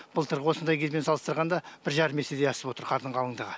былтырғы осындай кезбен салыстырғанда бір жарым есеге асып отыр қардың қалындығы